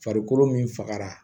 Farikolo min fagara